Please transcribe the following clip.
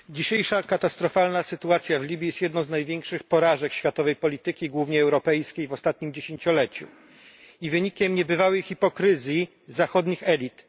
Panie Przewodniczący! Dzisiejsza katastrofalna sytuacja w Libii jest jedną z największych porażek światowej polityki głównie europejskiej w ostatnim dziesięcioleciu i wynikiem niebywałej hipokryzji zachodnich elit.